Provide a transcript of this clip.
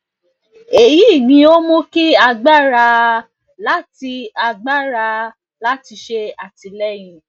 eyi ni o mu ki agbara aaa lati agbara aaa lati ṣe atilẹyin